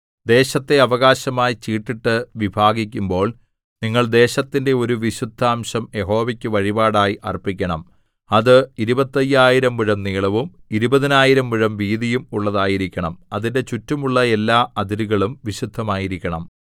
ദേശത്തെ അവകാശമായി ചീട്ടിട്ടു വിഭാഗിക്കുമ്പോൾ നിങ്ങൾ ദേശത്തിന്റെ ഒരു വിശുദ്ധാംശം യഹോവയ്ക്കു വഴിപാടായി അർപ്പിക്കണം അത് ഇരുപത്തയ്യായിരം മുഴം നീളവും ഇരുപതിനായിരം മുഴം വീതിയും ഉള്ളതായിരിക്കണം അതിന്റെ ചുറ്റുമുള്ള എല്ലാ അതിരുകളും വിശുദ്ധമായിരിക്കണം